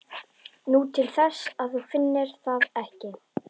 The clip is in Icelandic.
Nú, til þess að þú finnir það ekki.